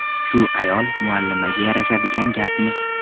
Shu ayol muallimaga yarashadigan gapmi?.